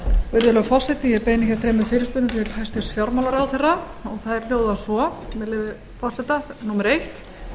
virðulegur forseti ég beini hér þremur fyrirspurnum til hæstvirts fjármálaráðherra og þær hljóða svo með leyfi forseta númer eitt